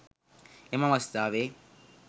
එම අවස්ථාවේ